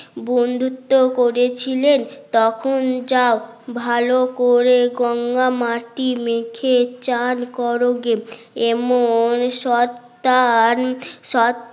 বন্ধুত্ব করেছিলেন তখন যাও ভালো করে গঙ্গা মাটি মেখে চান করো গে এমন শয়তান